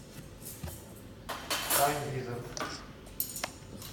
тайм визард